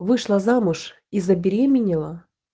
вышла замуж и забеременела